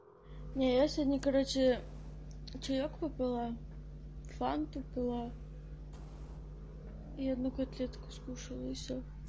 не я сегодня короче чаёк попила фанту пила и одну котлетку скушала и всё